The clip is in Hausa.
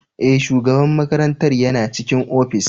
Ee, shugaban makarantar yana cikin ofis.